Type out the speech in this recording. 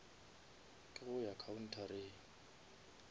ke go ya khaunthareng